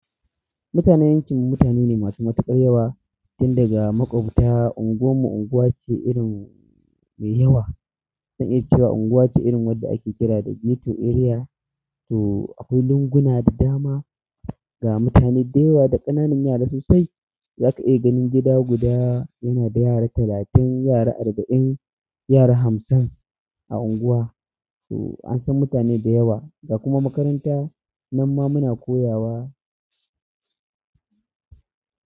Mutanen yankin mu mutane ne masu matuƙar yawa, tun daga maƙwabta unguwar mu unguwa ce irin mai yawa. Zan iya cewa unguwa ce irin wadda ake kira da ghetto area, to akwai lunguna da dama ga mutane da yawa da ƙananan yara sosai. Za ka iya ganin gida guda yana da yara talatin, yara arba'in, yara hamsin a unguwa. To an san mutane da yawa ga kuma makaranta nan ma muna koyawa.